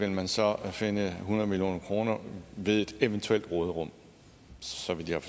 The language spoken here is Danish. vil man så finde hundrede million kroner ved et eventuelt råderum så vidt jeg